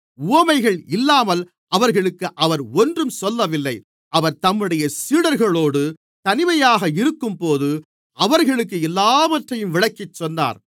உவமைகள் இல்லாமல் அவர்களுக்கு அவர் ஒன்றும் சொல்லவில்லை அவர் தம்முடைய சீடர்களோடு தனிமையாக இருக்கும்போது அவர்களுக்கு எல்லாவற்றையும் விளக்கிச்சொன்னார்